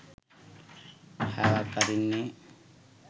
හැවක් අරින්නෙ